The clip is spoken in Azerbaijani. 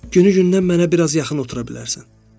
Günü-gündən mənə bir az yaxın otura bilərsən.